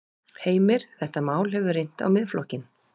Heimir: Þetta mál hefur reynt á Miðflokkinn?